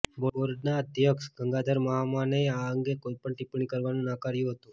બોર્ડના અધ્યક્ષ ગંગાધર મહામાનેએ આ અંગે કોઇ પણ ટિપ્પણી કરવાનું નકાર્યું હતું